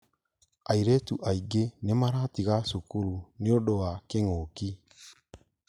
Airĩtu aingĩ nĩ maratiga cukuru nĩũndũ wa kĩng'ũki